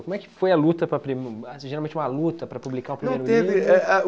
Como é que foi a luta, para pri geralmente uma luta para publicar o primeiro livro? Não, teve é a